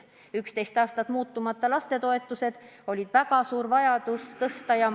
11 aastat püsisid lastetoetused muutmata ja oli väga suur vajadus neid tõsta.